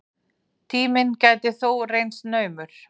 Tíminn gæti þó reynst naumur.